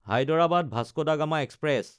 হায়দৰাবাদ–ভাস্কো da Gama express